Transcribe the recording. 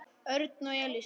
Örn og Elísa.